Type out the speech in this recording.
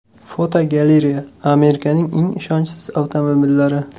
Fotogalereya: Amerikaning eng ishonchsiz avtomobillari.